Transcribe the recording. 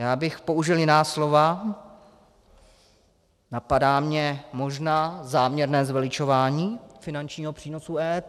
Já bych použil jiná slova, napadá mě možná záměrné zveličování finančního přínosu EET.